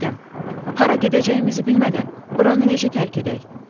Adəm: Hara gedəcəyimizi bilmədən buranı necə tərk edək?